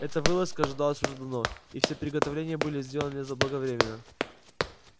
эта вылазка ожидалась уже давно и все приготовления были сделаны заблаговременно